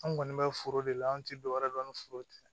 An kɔni bɛ foro de la an tɛ dɔ wɛrɛ dɔn ni foro tɛ